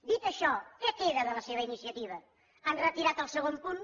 dit això què queda de la seva iniciativa han retirat el segon punt